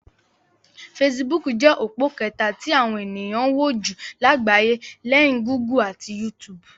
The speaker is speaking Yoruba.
Fesibúùkù jẹ́ òpó kẹta tí àwọn ènìyàn ń wò jù lágbàyé, léyìn Gúgù ati YouTube.